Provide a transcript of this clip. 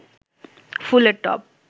ফুলের টব